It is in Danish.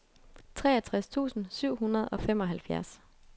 treogtres tusind syv hundrede og femoghalvfjerds